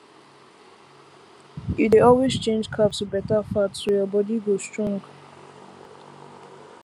you dey always change carb to better fat so your body go strong